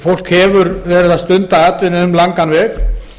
fólk hefur verið að stunda atvinnu um langan veg